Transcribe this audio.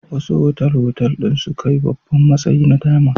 Wasu otal-otal ɗin sun kai babban matsayi na diamond.